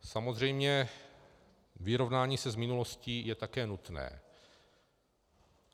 Samozřejmě vyrovnání se s minulostí je také nutné.